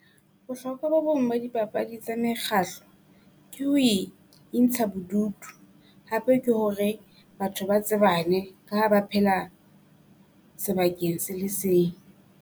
Bohlokwa bo bong ba dipapadi tsa mekgahlo ke ho intsha bodutu, hape ke hore batho ba tsebane ka ha ba phela sebakeng se le seng.